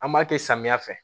An b'a kɛ samiya fɛ